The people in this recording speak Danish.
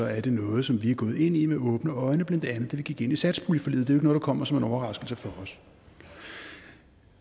er det noget som vi er gået ind i med åbne øjne blandt andet da vi gik ind i satspuljeforliget det noget der kommer som en overraskelse for os